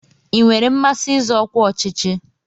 Ị nwere mmasị izọ ọkwa ọchịchị?